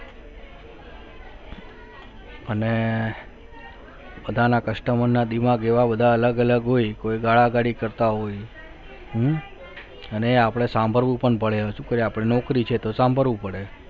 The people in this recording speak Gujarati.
અને પોતાના customer ના દિમાગ બધા અલગ અલગ હોય કોઈ ગાળા ગાળી કરતા હોય અને એ આપણે સાંભળવું પણ પડે હવે શું કરીએ આપણી નોકરી છે તો સાંભળવું પણ પડે